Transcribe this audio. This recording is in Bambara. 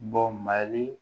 Bɔ mali